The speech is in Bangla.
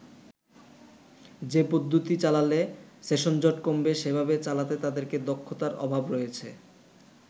যে পদ্ধতিতে চালালে সেশনজট কমবে সেভাবে চালাতে তাদের দক্ষতার অভাব রয়েছে”।